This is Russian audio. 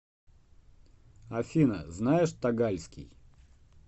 афина знаешь тагальский